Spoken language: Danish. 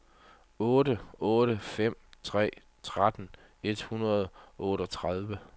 otte otte fem tre tretten et hundrede og otteogtredive